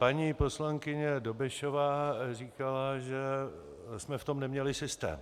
Paní poslankyně Dobešová říkala, že jsme v tom neměli systém.